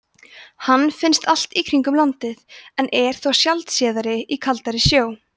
hann finnst allt í kringum landið en er þó sjaldséðari í kaldari sjó